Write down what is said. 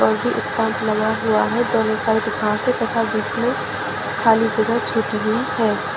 और भी स्टम्प लगा हुआ है दोनों साइड घासे तथा बीच में खाली जगह छुटी है।